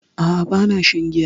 A'a ba na shan giya